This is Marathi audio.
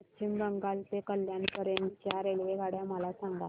पश्चिम बंगाल ते कल्याण पर्यंत च्या रेल्वेगाड्या मला सांगा